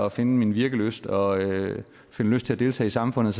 at finde min virkelyst og finde lyst til at deltage i samfundet